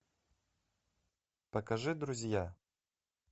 покажи друзья